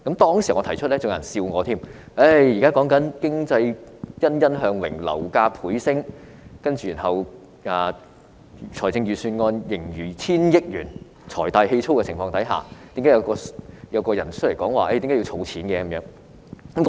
當時我提出建議時，還有人取笑我，表示經濟欣欣向榮，樓價倍升，財政盈餘達億元水平，政府財大氣粗，為何有人說要儲蓄呢？